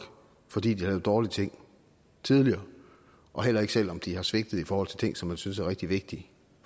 fordi de har lavet dårlige ting tidligere og heller ikke selv om de har svigtet i forhold til ting som man synes er rigtig vigtige